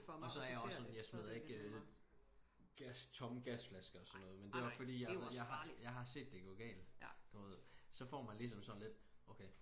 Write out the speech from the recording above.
Og så er jeg opså sådan jeg smider ikke gas tomme gasflasker og sådan noget men det også fordi jeg jeg har set det gå galt sdu ved å for man ligesom sådan lidt okay